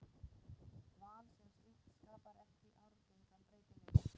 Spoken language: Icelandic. Val sem slíkt skapar ekki arfgengan breytileika.